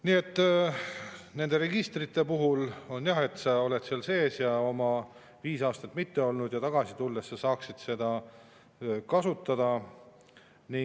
Nii et nende registrite puhul on jah nii, et sa oled seal sees ja viis aastat ja tagasi tulles sa saaksid seda kasutada.